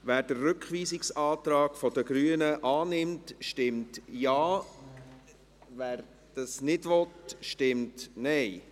Wer den Rückweisungsantrag der Grünen annimmt, stimmt Ja, wer dies nicht will, stimmt Nein.